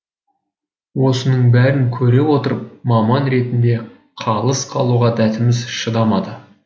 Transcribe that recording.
осының бәрін көре отырып маман ретінде қалыс қалуға дәтіміз шыдамады